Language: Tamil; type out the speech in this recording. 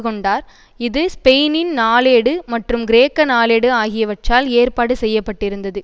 கொண்டார் இது ஸ்பெயினின் நாளேடு மற்றும் கிரேக்க நாளேடு ஆகியவற்றால் ஏற்பாடு செய்ய பட்டிருந்தது